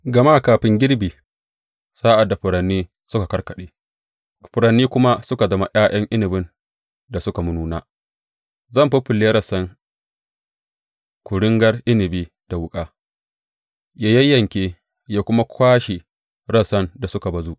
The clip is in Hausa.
Gama kafin girbi, sa’ad da furanni suka karkaɗe furanni kuma suka zama ’ya’yan inabin da suka nuna, zai faffalle rassan kuringar inabi da wuƙa, ya yanke ya kuma kwashe rassan da suka bazu.